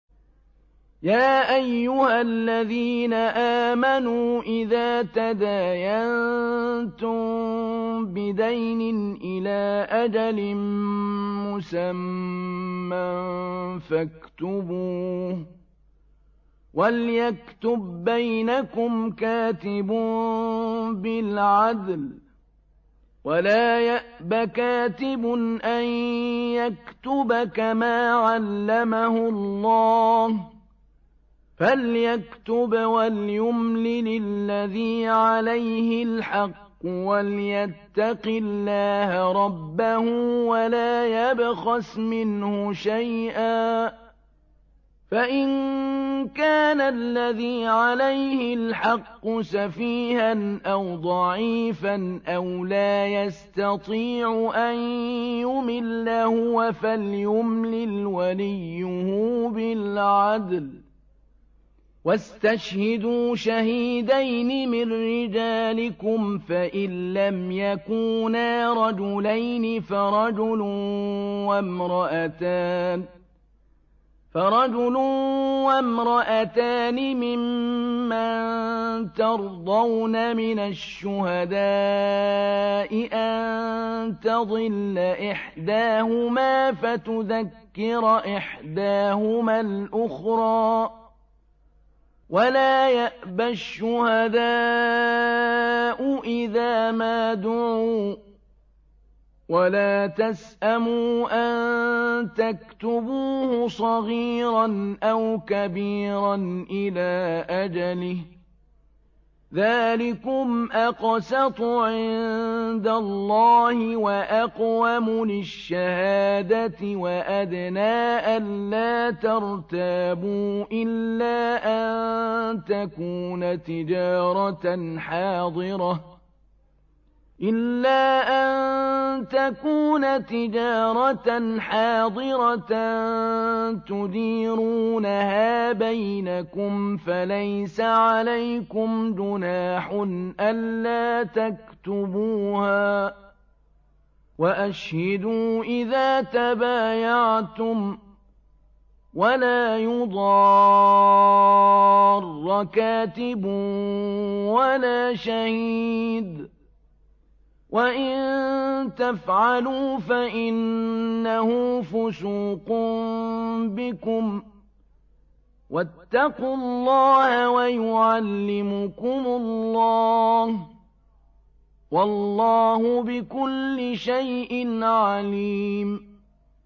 يَا أَيُّهَا الَّذِينَ آمَنُوا إِذَا تَدَايَنتُم بِدَيْنٍ إِلَىٰ أَجَلٍ مُّسَمًّى فَاكْتُبُوهُ ۚ وَلْيَكْتُب بَّيْنَكُمْ كَاتِبٌ بِالْعَدْلِ ۚ وَلَا يَأْبَ كَاتِبٌ أَن يَكْتُبَ كَمَا عَلَّمَهُ اللَّهُ ۚ فَلْيَكْتُبْ وَلْيُمْلِلِ الَّذِي عَلَيْهِ الْحَقُّ وَلْيَتَّقِ اللَّهَ رَبَّهُ وَلَا يَبْخَسْ مِنْهُ شَيْئًا ۚ فَإِن كَانَ الَّذِي عَلَيْهِ الْحَقُّ سَفِيهًا أَوْ ضَعِيفًا أَوْ لَا يَسْتَطِيعُ أَن يُمِلَّ هُوَ فَلْيُمْلِلْ وَلِيُّهُ بِالْعَدْلِ ۚ وَاسْتَشْهِدُوا شَهِيدَيْنِ مِن رِّجَالِكُمْ ۖ فَإِن لَّمْ يَكُونَا رَجُلَيْنِ فَرَجُلٌ وَامْرَأَتَانِ مِمَّن تَرْضَوْنَ مِنَ الشُّهَدَاءِ أَن تَضِلَّ إِحْدَاهُمَا فَتُذَكِّرَ إِحْدَاهُمَا الْأُخْرَىٰ ۚ وَلَا يَأْبَ الشُّهَدَاءُ إِذَا مَا دُعُوا ۚ وَلَا تَسْأَمُوا أَن تَكْتُبُوهُ صَغِيرًا أَوْ كَبِيرًا إِلَىٰ أَجَلِهِ ۚ ذَٰلِكُمْ أَقْسَطُ عِندَ اللَّهِ وَأَقْوَمُ لِلشَّهَادَةِ وَأَدْنَىٰ أَلَّا تَرْتَابُوا ۖ إِلَّا أَن تَكُونَ تِجَارَةً حَاضِرَةً تُدِيرُونَهَا بَيْنَكُمْ فَلَيْسَ عَلَيْكُمْ جُنَاحٌ أَلَّا تَكْتُبُوهَا ۗ وَأَشْهِدُوا إِذَا تَبَايَعْتُمْ ۚ وَلَا يُضَارَّ كَاتِبٌ وَلَا شَهِيدٌ ۚ وَإِن تَفْعَلُوا فَإِنَّهُ فُسُوقٌ بِكُمْ ۗ وَاتَّقُوا اللَّهَ ۖ وَيُعَلِّمُكُمُ اللَّهُ ۗ وَاللَّهُ بِكُلِّ شَيْءٍ عَلِيمٌ